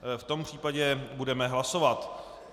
V tom případě budeme hlasovat.